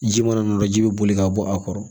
Ji mana dɔ ji bɛ boli ka bɔ a kɔrɔ